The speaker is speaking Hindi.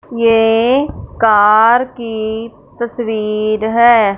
ये कार की तस्वीर है।